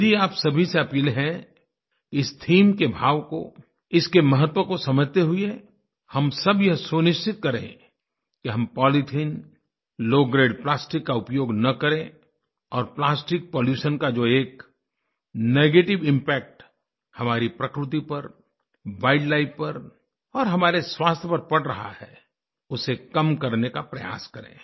मेरी आप सभी से अपील है इस थीम के भाव को इसके महत्व को समझते हुए हम सब यह सुनिश्चित करें कि हमpolythene लो ग्रेड प्लास्टिक का उपयोग न करें और प्लास्टिक पॉल्यूशन का जो एक नेगेटिव इम्पैक्ट हमारी प्रकृति पर वाइल्ड लाइफ पर और हमारे स्वास्थ्य पर पड़ रहा है उसे कम करने का प्रयास करें